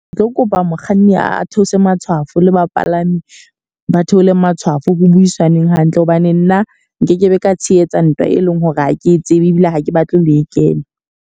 Ke tlo kopa mokganni a theose matshwafo le bapalami ba theolle matshwafo ho buisanweng hantle. Hobane nna nkekebe ka tshehetsa ntwa e leng hore ha ke tsebe ebile ha ke batle ho e kena.